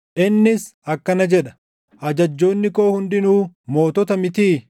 Innis akkana jedha; ‘Ajajjoonni koo hundinuu mootota mitii?